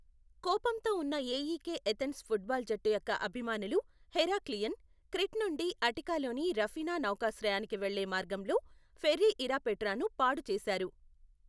కోపంతో ఉన్న AEK Athens football జట్టు యొక్క అభిమానులు హెరాక్లియన్, క్రీట్ నుండి అటికాలోని రఫీనా నౌకాశ్రయానికి వెళ్లే మార్గంలో ఫెర్రీ ఇరపెట్రాను పాడు చేశారు.